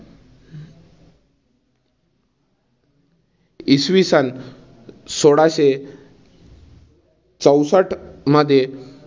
इसवी सन सोळाशे चौसष्ठ मध्ये